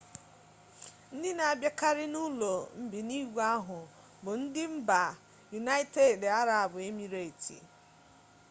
ndị na-abịakarị n'ụlọ mbinigwe ahụ bụ ndị mba yunaịtedị arabụ emireti